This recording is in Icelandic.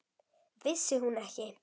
Vissi hún ekki?